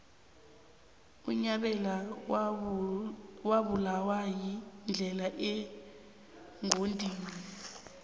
unyabela wabulawa yindlala emgodini